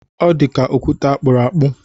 Ọ dịka okwute akpụrụ akpụ.